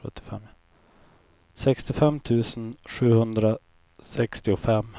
sextiofem tusen sjuhundrasextiofem